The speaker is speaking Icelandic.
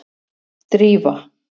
Drífa